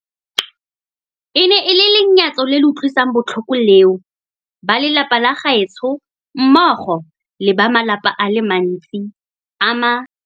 E ne e le lenyatso le le utlwisang botlhoko leo ba lelapa la gaetsho mmogo le ba malapa a le mantsi a ma